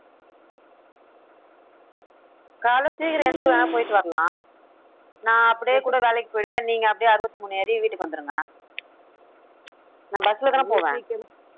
காலையில சீக்கிரம் எந்திரிச்சு வேணா போயிட்டு வரலாம். நான் அப்படியே கூட வேலைக்கு போயிடுவேன். நீங்க அப்படியே அறுபத்தி மூணு ஏறி வீட்டுக்கு வந்துருங்க நான் bus ல தானே போவேன்